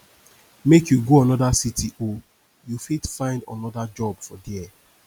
make you go anoda city o you fit find anoda job there